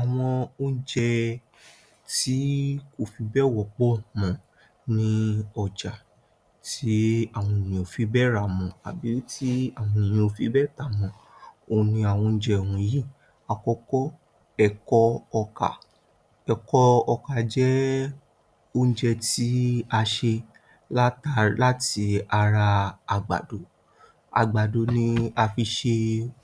Àwọn oúnjẹ tí kò fi bẹ́ẹ̀ wọ́pọ̀ mọ́ ní ọjà Àwọn oúnjẹ tí kò fi bẹ́ẹ̀ wọ́pọ̀ mọ́ ní ọjà, tí àwọn ènìyàn ò fi bẹ́ẹ̀ rá mọ́, àbí tí àwọn ènìyàn fi bẹ́ẹ̀ tà mọ́. Òun ni àwọn oúnjẹ ohun yìí. Àkọ́kọ́, ẹ̀kọ́ ọkà. Ẹ̀kọ́ ọkà jẹ́ oúnjẹ tí a ṣe láti ara àgbàdo. Àgbàdo ni a fi ṣe